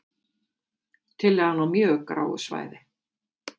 Tillagan á mjög gráu svæði